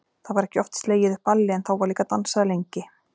Það var ekki oft slegið upp balli en þá var líka dansað lengi.